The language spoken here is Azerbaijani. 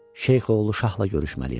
Şeyx oğlu şahla görüşməliyəm.